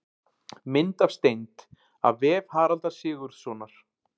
Mynd af steind: af vef Haraldar Sigurðssonar.